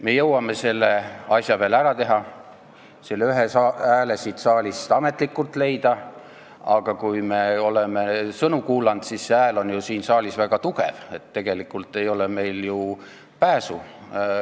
Me jõuame selle asja veel ära teha, leida siit saalist ametlikult selle ühe hääle, sest kui me oleme sõnu kuulanud, siis see hääl on siin ju väga tugev, nii et tegelikult ei ole meil ju pääsu.